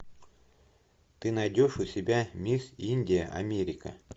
ты найдешь у себя мисс индия америка